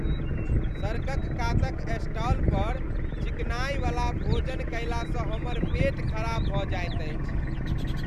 सड़कक कातक स्टाल पर चिकनाइवला भोजन कयलासँ हमर पेट खराब भऽ जाइत अछि।